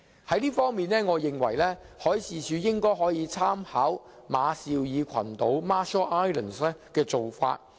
在這方面，我認為海事處可以參考馬紹爾群島的做法。